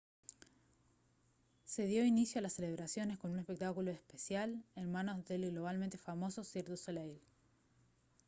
se dio inicio a las celebraciones con un espectáculo especial en manos del globalmente famoso cirque du soleil